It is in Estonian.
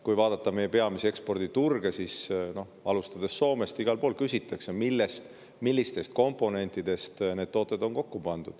Kui vaadata meie peamisi eksporditurge, alustades Soomest, siis igal pool küsitakse, millistest komponentidest need tooted on kokku pandud.